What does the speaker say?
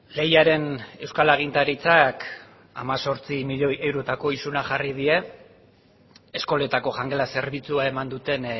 leiaren euskal agintaritzak hemezortzi milioi eurotako isuna jarri die eskoletako jangela zerbitzua eman duten